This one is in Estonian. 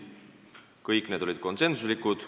Kõik need otsused olid konsensuslikud.